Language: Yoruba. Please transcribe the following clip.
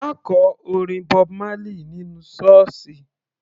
Ma kọ orin Bob Marley nínú sọ́ọ̀sì.